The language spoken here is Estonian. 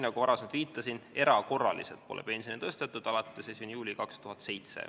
Nagu ma varem viitasin, erakorraliselt pole pensione tõstetud alates 1. juulist 2007.